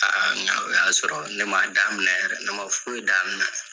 Aa n'aw y'a sɔrɔ, ne ma daminɛ yɛrɛ, ne ma foyi daminɛ.